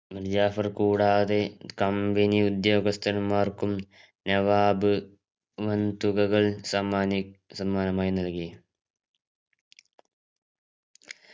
മിർജാഫർ കൂടാതെ company ഉദ്യോഗസ്ഥന്മാർക്കും നവാബ് വൻതുകകൾ സമ്മാനി സമ്മാനമായി നൽകി